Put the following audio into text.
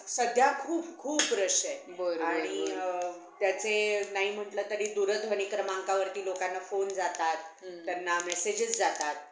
सध्या खूप खूप rush आहे. आणि त्याचे नाही म्हंटलं तरी दूरध्वनी क्रमांकावरती लोकांना phone जातात. त्यांना messages जातात.